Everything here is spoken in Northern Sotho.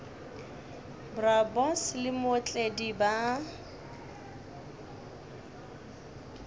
bro boss le mootledi ba